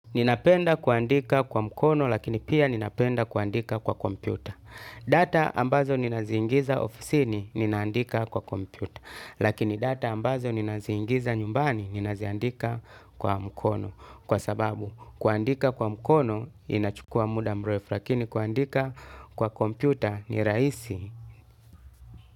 Ninapenda kuandika kwa mkono lakini pia ninapenda kuandika kwa kompyuta. Data ambazo ninaziingiza ofisini ninandika kwa kompyuta. Lakini data ambazo ninaziingiza nyumbani ninaziandika kwa mkono. Kwa sababu kuandika kwa mkono inachukua muda mrefu lakini kuandika kwa kompyuta ni raisi.